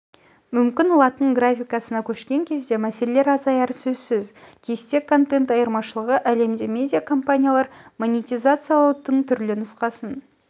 мүмкін латын графикасына көшкен кезде мәселелер азаяры сөзсіз кесте контент айырмашылығы әлемде медиакомпаниялар монетизациялаудың түрлі нұсқасын